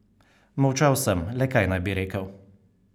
Molčal sem, le kaj naj bi rekel?